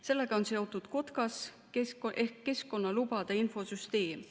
Sellega on seotud KOTKAS ehk keskkonnalubade infosüsteem.